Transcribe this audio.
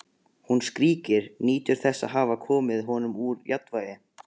Hún skríkir, nýtur þess að hafa komið honum úr jafnvægi.